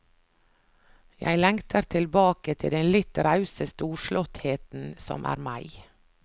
Jeg lengter tilbake til den litt rause storslåttheten som er meg.